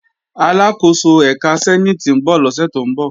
Aláàkóso ẹ̀ka sẹ́níìtì ń bọ̀ lọ́sẹ̀ tó ń bọ̀